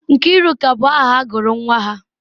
Nkiruka bụ aha ha gụrụ nwa ha.